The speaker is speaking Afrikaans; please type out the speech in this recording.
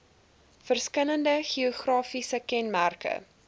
verskillende geografiese kenmerke